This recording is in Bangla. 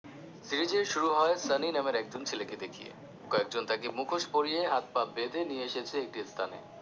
series এর শুরু হয় সানি নামের একজন ছেলেকে দেখিয়ে, কয়েকজন তাকে মুখোশ পরিয়ে হাত পা বেঁধে নিয়ে এসেছে একটি স্থানে